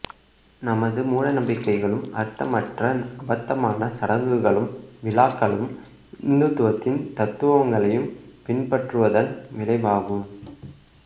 நமது மூடநம்பிக்கைகளும் அர்த்தமற்ற அபத்தமான சடங்குகளும் விழாக்களும் இந்துத்துவத்தின் தத்துவங்களைப் பின்பற்றுவதன் விளைவாகும்